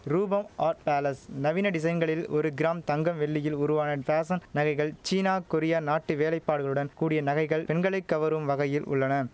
ரூபம் art palace நவீன டிசைன்களில் ஒரு கிராம் தங்கம் வெள்ளியில் உருவான பேஷன் நகைகள் சீனா கொரியா நாட்டு வேலைப்பாடுகளுடன் கூடிய நகைகள் பெண்களை கவரும் வகையில் உள்ளன